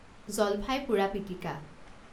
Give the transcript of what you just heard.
জলফাই পোৰা পিটিকা